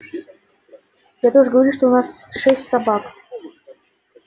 я тоже говорю что у нас шесть собак